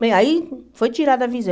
Bem, aí foi tirada a visão.